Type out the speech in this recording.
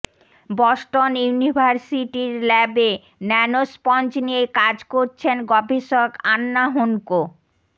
Boston ইউনিভার্সিটির ল্যাবে ন্যানোস্পঞ্জ নিয়ে কাজ করছেন গবেষক আন্না হোনকো